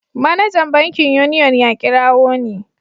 Manajan bankin Union ya kirawo ni.